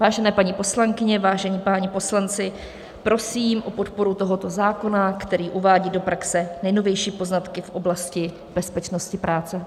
Vážené paní poslankyně, vážení páni poslanci, prosím o podporu tohoto zákona, který uvádí do praxe nejnovější poznatky v oblasti bezpečnosti práce.